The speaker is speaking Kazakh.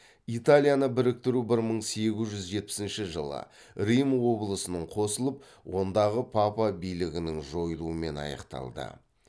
италияны біріктіру бір мың сегіз жүз жетпісінші жылы рим облысының қосылып ондағы папа билігінің жойылуымен аяқталды